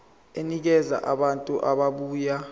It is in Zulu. enikeza abantu ababuya